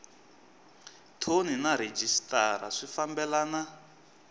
thoni na rhejisitara swi fambelana